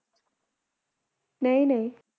ਨਈ ਨਈ